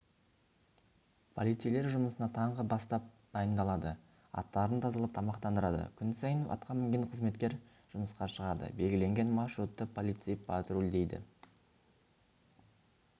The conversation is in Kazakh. полицейлер жұмысына таңғы бастап дайындалады аттарын тазалап тамақтандырады күн сайын атқа мінген қызметкер жұмысқа шығады белгіленген маршрутты полицей патрульдейді